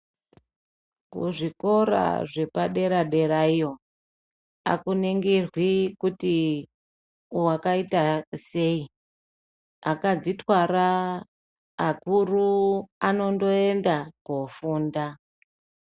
Kuzvikora zvepadera-dera iyo akuningirwi kuti wakaita sei, akadzitwara, akuru ano ndoenda kofunda.